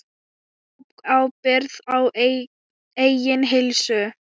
Tók ábyrgð á eigin heilsu.